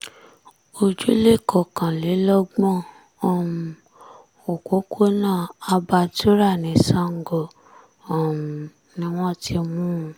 ojúlé kọkànlélọ́gbọ̀n um òpópónà abartura ní sango um ni wọ́n ti mú un